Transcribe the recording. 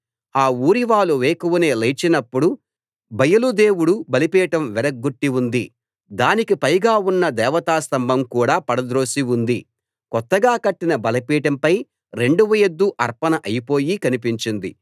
ఆ ఊరివాళ్ళు వేకువనే లేచినప్పుడు బయలు దేవుడు బలిపీఠం విరగ్గొట్టి ఉంది దానికి పైగా ఉన్న దేవతా స్తంభం కూడా పడద్రోసి ఉంది కొత్తగా కట్టిన బలిపీఠంపై రెండవ ఎద్దు అర్పణ అయిపోయి కనిపించింది